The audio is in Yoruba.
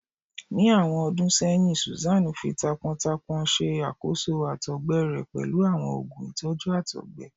Ni awọn ọdun sẹyin, Susan fi taápọntaápọn ṣe àkóso àtọ̀gbẹ rẹ̀ pẹ̀lú àwọn oogun ìtọ́jú àtọ̀gbẹ